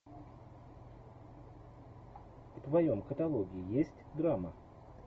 в твоем каталоге есть драма